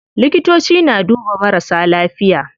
Likitoci na duba marasa lafiya.